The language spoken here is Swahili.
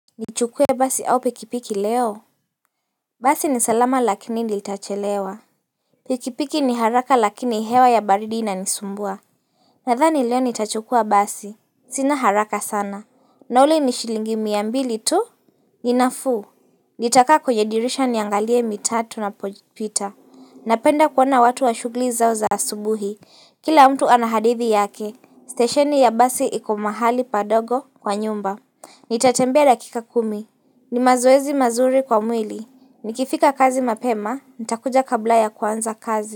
Nichukue basi au pikipiki leo? Basi ni salama lakini nitachelewa Pikipiki ni haraka lakini hewa ya baridi inanisumbua Nadhani leo nitachukua basi sina haraka sana nauri ni shilingi mia mbili tu? Ninafuu, nitakaa kwenye dirisha niangalie mitatu na pojipita Napenda kuwana watu wa shughuli zao za subuhi Kila mtu anahadithi yake Stasheni ya basi iku mahali padogo kwa nyumba Nitatembea dakika kumi ni mazuezi mazuri kwa mwili. Nikifika kazi mapema, nitakuja kabla ya kwanza kazi.